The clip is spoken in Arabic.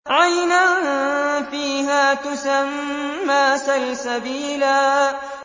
عَيْنًا فِيهَا تُسَمَّىٰ سَلْسَبِيلًا